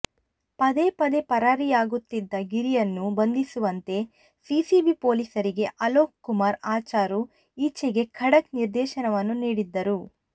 ಪದೇ ಪದೇ ಪರಾರಿಯಾಗುತ್ತಿದ್ದ ಗಿರಿಯನ್ನು ಬಂಧಿಸುವಂತೆ ಸಿಸಿಬಿ ಪೊಲೀಸರಿಗೆ ಅಲೋಕ್ ಕುಮಾರ್ ಅಚರು ಈಚೆಗೆ ಖಡಕ್ ನಿರ್ದೇಶನವನ್ನು ನೀಡಿದ್ದರು